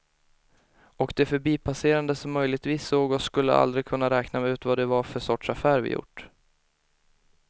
Och de förbipasserande som möjligtvis såg oss skulle aldrig kunna räkna ut vad det var för sorts affär vi gjort.